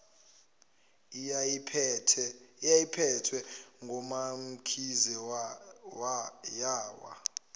eyayiphethwe ngumamkhize yawa